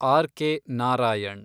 R K Narayan